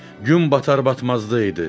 Gün batar-batmazdı idi.